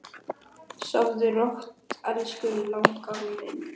Sofðu rótt elsku langafi minn.